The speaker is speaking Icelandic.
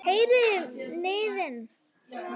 Heyrið þið niðinn?